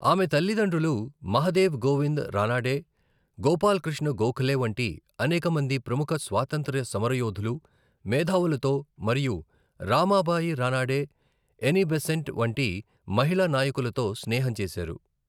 ఆమె తల్లిదండ్రులు మహదేవ్ గోవింద్ రానడే, గోపాల్ కృష్ణ గోఖలే వంటి అనేక మంది ప్రముఖ స్వాతంత్ర్య సమరయోధులు, మేధావులతో మరియు రమాబాయి రానడే, ఎని బెసెంట్ వంటి మహిళా నాయకులతో స్నేహం చేశారు.